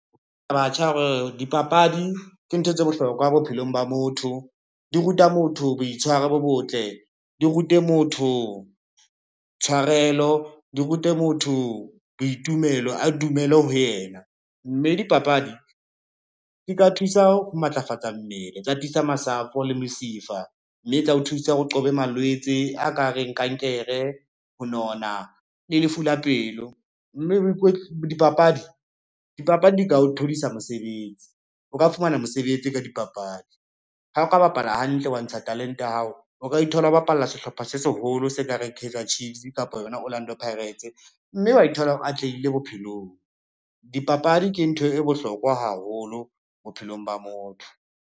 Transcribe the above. Batjha hore dipapadi ke ntho tse bohlokwa bophelong ba motho. Di ruta motho boitshwaro bo botle, di rute motho tshwarelo, di rute motho boitumelo a dumele ho yena, mme dipapadi di ka thusa ho matlafatsa mmele, tsa thusa masapo le mesifa, mme e tla o thusa hore o qobe malwetse a ka reng kankere, ho nona le lefu la pelo, mme dipapadi di ka o thodiswa mosebetsi, o ka fumana mosebetsi ka dipapadi. Ha o ka bapala hantle, wa ntsha talente ya hao, o ka ithola o bapalla sehlopha se seholo se kare Kaizer Chiefs kapa yona Orlando Pirates, mme wa ithola o atlehile bophelong. Dipapadi ke ntho e bohlokwa haholo bophelong ba motho.